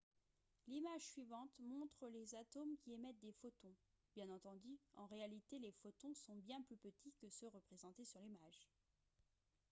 l'image suivante montre les atomes qui émettent des photons bien entendu en réalité les photons sont bien plus petits que ceux représentés sur l'image